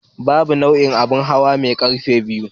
Babur nau'in abin hawa ne mai kafa biyu.